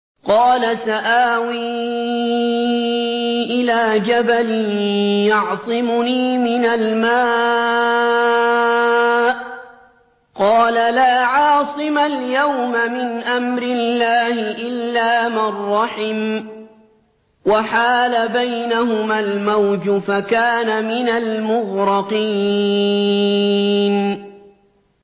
قَالَ سَآوِي إِلَىٰ جَبَلٍ يَعْصِمُنِي مِنَ الْمَاءِ ۚ قَالَ لَا عَاصِمَ الْيَوْمَ مِنْ أَمْرِ اللَّهِ إِلَّا مَن رَّحِمَ ۚ وَحَالَ بَيْنَهُمَا الْمَوْجُ فَكَانَ مِنَ الْمُغْرَقِينَ